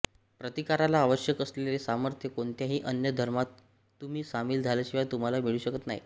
प्रतिकाराला आवश्यक असलेले सामर्थ्य कोणत्याही अन्य धर्मात तुम्ही सामील झाल्याशिवाय तुम्हाला मिळू शकत नाही